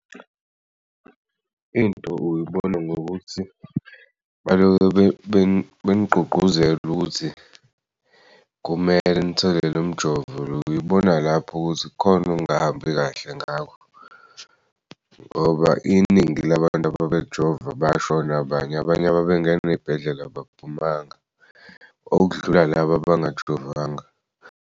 Into uyibona ngokuthi baloke benigqugquzela ukuthi kumele nithole lomjovo uyibona lapho ukuthi kukhona okungahambi kahle ngawo. Ngoba iningi labantu babejova bashona abanye, abanye babengen'ey'bhedlela abaphumanga, okudlula laba abangajovanga.